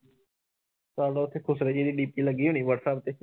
WhatsApp ਤੇ